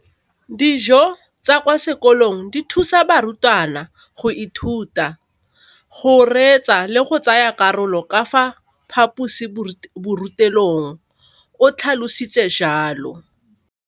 Dijo tsa kwa sekolong dithusa barutwana go ithuta, go reetsa le go tsaya karolo ka fa phaposiborutelong, o tlhalositse jalo.